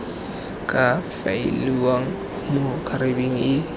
ka faeliwang mo khabareng e